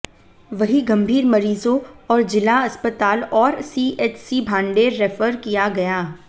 वहीं गंभीर मरीजों को जिला अस्पताल और सीएचसी भांडेर रेफर किया गया